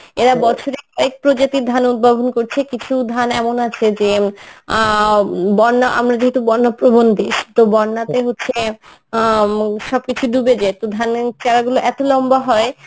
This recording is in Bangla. এরা বছরে কয়েক প্রজাতির ধান উৎভাবন করছে কিছু ধান এমনও আছে যে অ্যাঁ বন্যা আমরা যেহেতু বন্যা প্রবন দেশ তো বন্যাতে হচ্ছে অ্যাঁ সবকিছু ডুবে যায় তো ধানের চারা গুলো এত লম্বা হয়